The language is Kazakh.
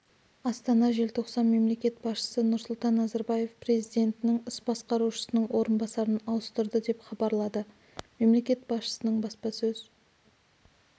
астана желтоқсан мемлекет басшысы нұрсұлтан назарбаев президентінің іс басқарушысының орынбасарларын ауыстырды деп хабарлады мемлекет басшысының баспасөз